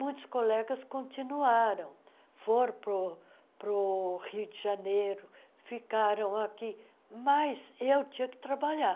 Muitos colegas continuaram, foram para o para o Rio de Janeiro, ficaram aqui, mas eu tinha que trabalhar.